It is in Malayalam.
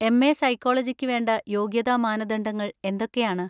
എം.എ. സൈക്കോളജിക്ക് വേണ്ട യോഗ്യതാ മാനദണ്ഡങ്ങൾ എന്തൊക്കെയാണ്?